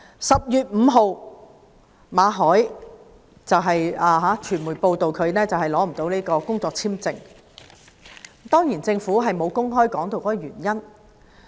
10月5日，傳媒報道馬凱的工作簽證不獲續期，而政府當然沒有公開箇中原因。